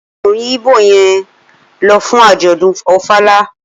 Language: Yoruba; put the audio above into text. Okunrin igbo yen lo fun ajodun ofala.